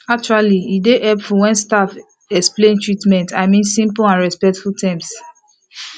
actually e dey hepful wen staf explain treatments i min simple and respectful terms